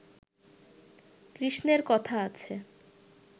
কৃষ্ণের কথা আছে